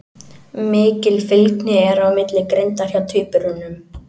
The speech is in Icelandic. Mikil fylgni er á milli greindar hjá tvíburum.